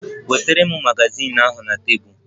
Nweta m magazin ahụ na tebụl!